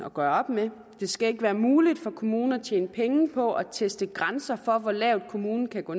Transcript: at gøre op med det skal ikke være muligt for kommunen at tjene penge på at teste grænser for hvor lavt kommunen kan gå